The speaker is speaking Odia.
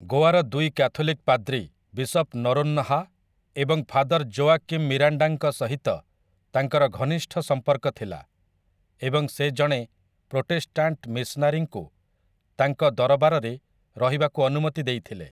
ଗୋଆର ଦୁଇ କ୍ୟାଥୋଲିକ୍‌ ପାଦ୍ରୀ ବିଶପ୍‌ ନରୋନ୍‌ହା ଏବଂ ଫାଦର୍‌ ଜୋଆକିମ୍‌ ମିରାଣ୍ଡାଙ୍କ ସହିତ ତାଙ୍କର ଘନିଷ୍ଠ ସମ୍ପର୍କ ଥିଲା ଏବଂ ସେ ଜଣେ ପ୍ରୋଟେଷ୍ଟାଣ୍ଟ୍‌ ମିଶନାରିଙ୍କୁ ତାଙ୍କ ଦରବାରରେ ରହିବାକୁ ଅନୁମତି ଦେଇଥିଲେ ।